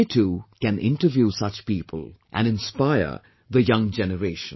They too, can interview such people, and inspire the young generation